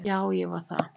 Já ég var það.